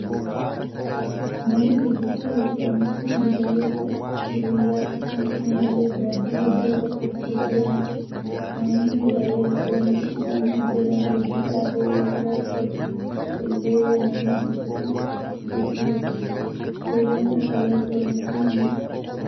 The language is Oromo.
Manni gurgurtaa elektirooniksii meeshaalee akka bilbilaa akkasumas meeshaalee adda addaa hedduu bakka itti gurguramudha. Namoonni meeshaalee elektirooniksii isaan jalaa hojii dhaabee yoo qabaatan illee deemanii asitti hojjachiifatu. Fayidaan meeshaalee elektirooniksii maali?